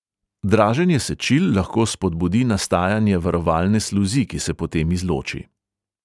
Draženje sečil lahko spodbudi nastajanje varovalne sluzi, ki se potem izloči.